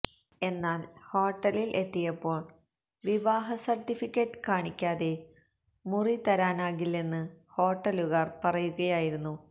എന്നാല് ഹോട്ടലില് എത്തിയപ്പോള് വിവാഹ സര്ട്ടിഫിക്കറ്റ് കാണിക്കാതെ മുറി തരാനാകില്ലെന്ന് ഹോട്ടലുകാര് പറയുകയായിരുന്നു